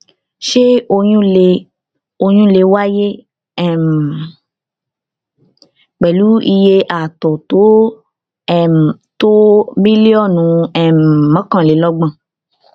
ṣé oyún lè oyún lè wáyé um pẹlú iye àtọ tó um tó mílíọnù um mọkànlelọgbọn